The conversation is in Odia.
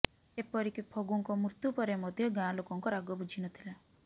ଏପରିକି ଫଗୁଙ୍କ ମୃତ୍ୟୁ ପରେ ମଧ୍ୟ ଗାଁ ଲୋକଙ୍କ ରାଗ ବୁଝିନଥିଲା